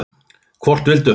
Hvort vildu þau?